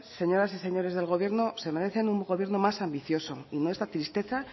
señoras y señores del gobierno se merecen un gobierno más ambicioso y no esta tristeza